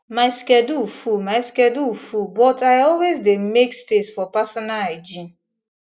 my schedule full my schedule full but i always dey make space for personal hygiene